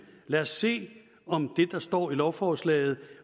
lad os se om det der står i lovforslaget